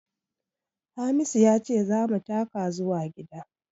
Hamisu ya ce za mu taka zuwa gida